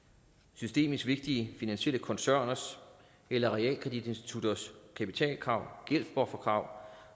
systemisk vigtige finansielle koncerners eller realkreditinstitutters kapitalkrav gældsbufferkrav